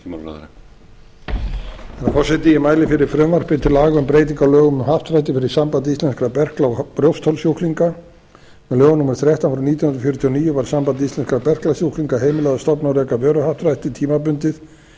herra forseti ég mæli fyrir frumvarpi til laga um breyting á lögum um happdrætti fyrir samband íslenskra berkla og brjóstholssjúklinga með lögum númer þrettán nítján hundruð fjörutíu og níu var sambandi íslenskra berklasjúklinga heimilað að stofna og reka vöruhappdrætti tímabundið